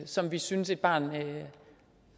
som vi synes et barn bør